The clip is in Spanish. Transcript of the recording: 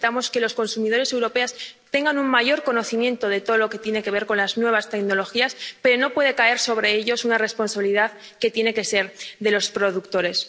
Necesitamos que los consumidores europeos tengan un mayor conocimiento de todo lo que tiene que ver con las nuevas tecnologías, pero no puede caer sobre ellos una responsabilidad que tiene que ser de los productores.